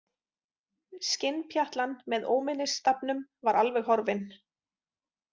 Skinnpjatlan með Óminnisstafnum var alveg horfin.